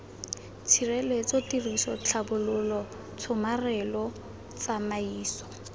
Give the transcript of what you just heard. tshireletso tiriso tlhabololo tshomarelo tsamaiso